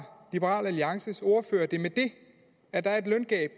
liberal alliances ordfører det med at der er